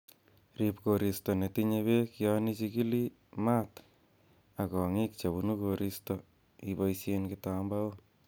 Rib koristo netinye beek yon ichigili maat ak kongiik chebunu koriisto iboishen kitambaok.